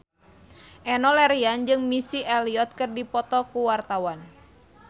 Enno Lerian jeung Missy Elliott keur dipoto ku wartawan